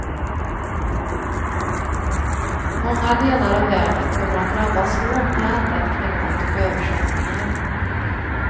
Många delar av världen kommer att drabbas hårt med ändrat klimat och översvämningar.